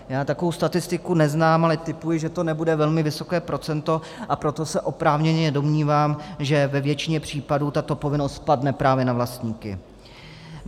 Já takovou statistiku neznám, ale tipuji, že to nebude velmi vysoké procento, a proto se oprávněně domnívám, že ve většině případů tato povinnost padne právě na vlastníky.